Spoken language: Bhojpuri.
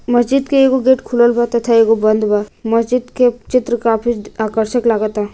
मस्जिद के एगो गेट खुलल बा तथा एगो बंद बा मस्जिद के चित्र काफी आकर्षित लागता।